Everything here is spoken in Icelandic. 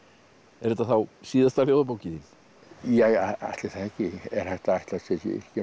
er þetta þá síðasta ljóðabókin þín ja ætli það ekki er hægt að ætlast til